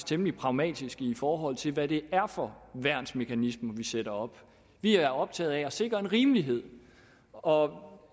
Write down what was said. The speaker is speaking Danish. temmelig pragmatiske i forhold til hvad det er for værnsmekanismer sætter op vi er optaget af at sikre en rimelighed og